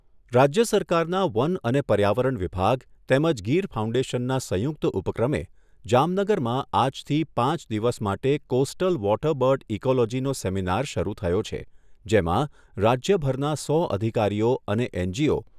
રાજ્ય સરકારના વન અને પર્યાવરણ વિભાગ તેમજ ગીર ફાઉન્ડેશનના સંયુક્ત ઉપક્રમે જામનગરમાં આજથી પાંચ દિવસ માટે કોસ્ટલ વોટરબર્ડ ઇકોલોજીનો સેમિનાર શરૂ થયો છે, જેમાં રાજ્યભરના સો અધિકારીઓ અને એનજીઓ